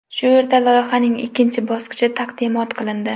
Shu yerda loyihaning ikkinchi bosqichi taqdimot qilindi.